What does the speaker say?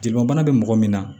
Jelibana bɛ mɔgɔ min na